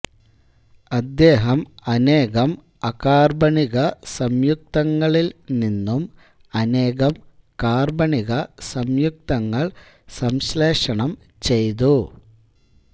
അദ്ദേഹം അനേകം അകാർബണിക സംയുക്തങ്ങളിൽ നിന്നും അനേകം കാർബണിക സംയുക്തങ്ങൾ സംശ്ലേഷണം ചെയ്തു